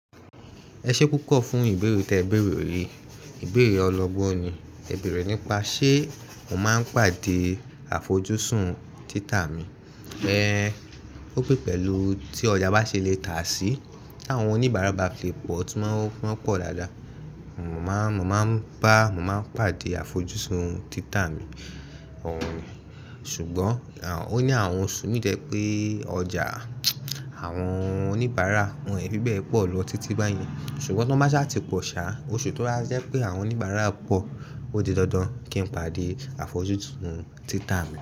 Ẹ ṣé púpọ̀ fún ìbéèrè tẹ bẹ̀rẹ̀ èrè. Ìbéèrè ọlọ́gbọ́n ni, ẹ bẹ̀rẹ̀ nípa ṣé mò máa ń pàdé àfojúsùn títà mi. Ẹ̀ Ò pé pẹ̀lú tí ọjà bá ṣe le tà sí, tí àwọn oníbàárà bá fi pọ̀, túmọ̀ pé wọ́n pọ̀ dáadáa, mò máa ń bá mò máa ń pàdé àfojúsùn títà mi. Òòrùn ni, ṣùgbọ́n, ò ní àwọn oṣù mí dẹ̀ pé ọjà àwọn oníbàárà wọ́n ì fi bẹ́ẹ̀ pọ̀ lọ títí báyìí. Ṣùgbọ́n tón bá ṣhà ti pọ̀ sá, oṣù tó rá ṣẹ́ pé àwọn oníbàárà pọ̀, ó di dandan kí n pàdé àfojúsùn títà mi.